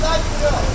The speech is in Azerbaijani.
Yox, gəldik, dur.